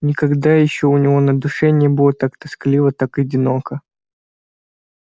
никогда ещё у него на душе не было так тоскливо так одиноко